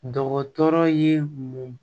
Dɔgɔtɔrɔ ye mun